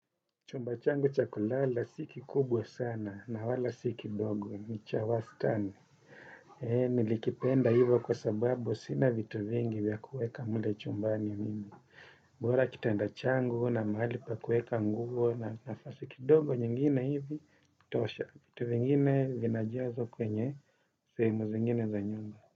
Chumba changu cha kulala, si kikubwa sana, na wala si kidogo, ni cha wastani. Nilikipenda hivyo kwa sababu, sina vitu vingi vya kueka mle chumbani mimi. Bora kitanda changu huwa na mahali pa kueka nguo, na nafasi kidogo nyingine hivi, tosha. Vitu vingine vinajazwa kwenye, sehemu nyingine za nyumba.